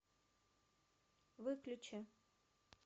выключи